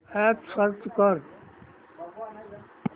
app search कर